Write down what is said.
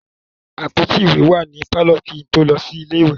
Àpótí ìwé wà ní pálọ̀ kí n tó lọ sí ilé-ìwé.